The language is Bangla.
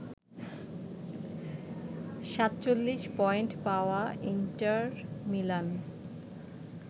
৪৭ পয়েন্ট পাওয়া ইন্টার মিলান